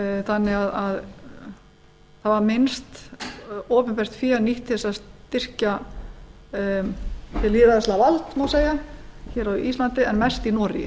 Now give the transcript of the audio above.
þannig að það var minnst opinbert fé nýtt til að styrkja hið lýðræðislega vald á ísland má segja en mest í noregi